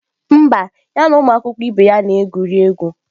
Mba, ya na ụmụ akwụkwọ ibe ya na-egwuri egwu